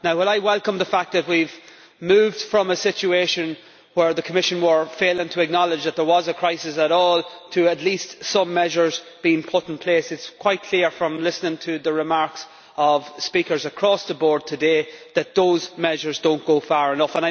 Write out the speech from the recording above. While I welcome the fact that we have moved from a situation where the Commission was failing to acknowledge that there was a crisis at all to at least some measures being put in place, it is quite clear from listening to the remarks of speakers across the board today that those measures do not go far enough.